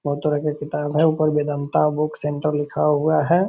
बहुत तरह का किताब है ऊपर वेदांता बुक सेंटर लिखा हुआ है।